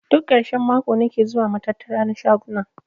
Duk karshen mako nake zuwa matattara na shaguna.